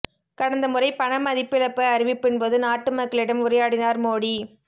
கடந்த முறை பண மதிப்பிழப்பு அறிவிப்பின்போது நாட்டு மக்களிடம் உரையாடினார் மோடி